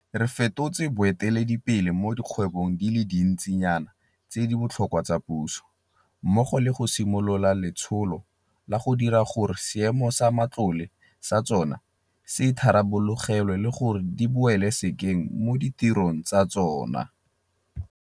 Re fetotse baeteledipele mo dikgwebong di le dintsinyana tse di botlhokwa tsa puso, mmogo le go simolola ka letsholo la go dira gore seemo sa matlole sa tsona se itharabologelwe le gore di boele sekeng mo ditirong tsa tsona.